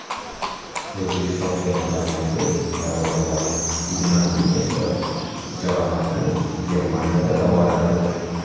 O‘zbekiston terma jamoasi darvozaboni Ignatiy Nesterov jarohatini Germaniyada davolatadi.